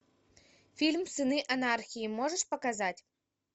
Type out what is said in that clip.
фильм сыны анархии можешь показать